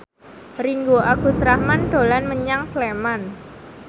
Ringgo Agus Rahman dolan menyang Sleman